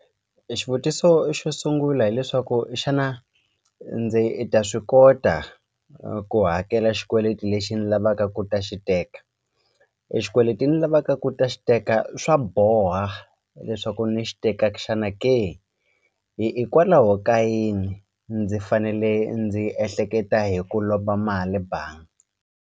E xivutiso xo sungula hileswaku xana ndzi ta swi kota ku hakela xikweleti lexi ni lavaka ku ta xi teka e xikweleti ni lavaka ku u ta xi teka swa boha leswaku ni xi teka xana ke ka yini ndzi fanele ndzi ehleketa hi ku lomba mali banga.